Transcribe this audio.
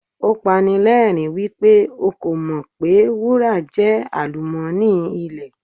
Ó pani lẹ́rìń wípé o kò mọ̀ pé wúrà jẹ́ àlùmọ́nì ilẹ̀.